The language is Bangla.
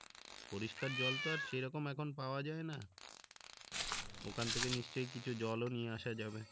পরিষ্কার জল তো আর সেরকম এখন পাওয়া যায় না ওখান থেকে নিশ্চয়ই কিছু জলও নিয়ে আসা যাবে